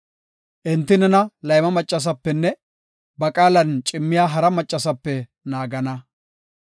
Enti nena layma maccasapenne ba qaalan cimmiya hara maccasape naagana.